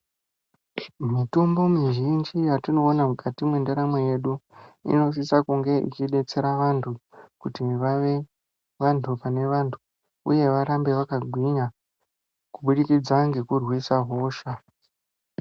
Mitombo mi zhinji yatino ona mukati mwe ndaramo yedu inosisa kunge ichi detsera vantu kuti vave vantu pane vantu uye varambe vaka ngwinya ku budikidza ngeku rwisa hosha.